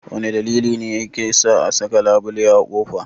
Wane dalili ne yasa ake saka labule a kofa?